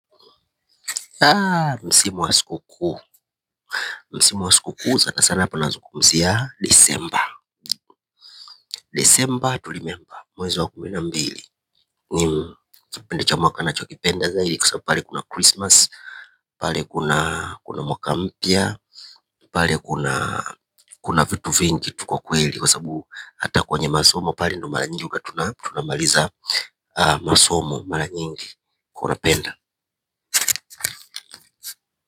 Aaa msimu wa siku kuu msimu wa siku kuu sana sana panazungumzia disemba disemba tulimemba mwezi wa kumi na mbili nimkipindi cha mwaka nachokipenda zaidi kwa sababu pale kuna christmas pale kuna kuna mwaka mpya pale kuna kuna vitu vingi tu kwa kweli kwa sabu hata kwenye masomo pale ndo mara nyingi huwa tunamaliza aa masomo mara nyingi kunapenda.